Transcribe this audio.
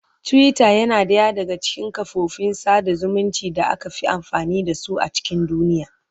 Twitter yana ɗaya daga cikin kafofin sada zumunci da aka fi amfani da su a cikin duniya.